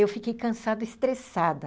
Eu fiquei cansada, estressada.